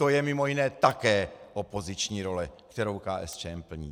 To je mimo jiné také opoziční role, kterou KSČM plní.